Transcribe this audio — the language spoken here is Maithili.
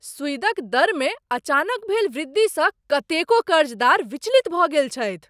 सुईद क दरमे अचानक भेल वृद्धिसँ कतेको कर्जदार विचलित भऽ गेल छथि।